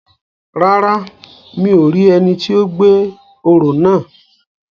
Rárá, mi ò rí ẹni ti ó gbé òró náà